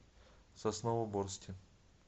сосновоборске